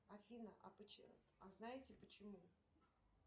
афина а знаете почему